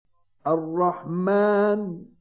الرَّحْمَٰنُ